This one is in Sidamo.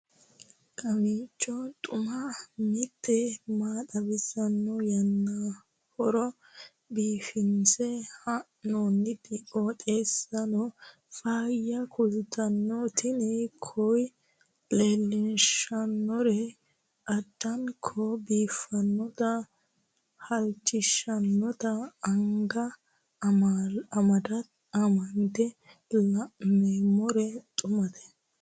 kowiicho xuma mtini maa xawissanno yaannohura biifinse haa'noonniti qooxeessano faayya kultanno tini kayi leellishshannori addanko biiffannote halchishshannote anga amande la'noommero xumate